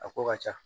A ko ka ca